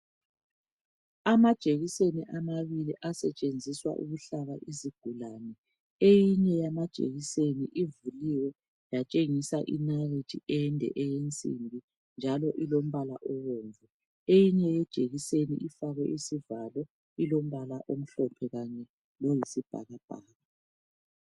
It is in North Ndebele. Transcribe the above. Amajekiseni amabili asetshenziswa ukuhlaba izigulane. Eyinye yamajekiseni ivuliwe yatshengisa inalithi ende eyensimbi, njalo ilombala obomvu. Eyinye ijekiseni ifakwe isivalo, ilombala omhlophe kanye loyisibhakabhaka.